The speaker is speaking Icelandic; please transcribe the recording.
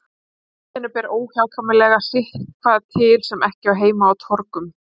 Í höllinni ber óhjákvæmilega sitthvað til sem ekki á heima á torgum.